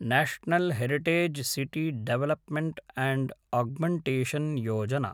national heritage city development and augmentation Yojana